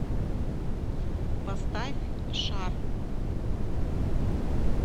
поставь шар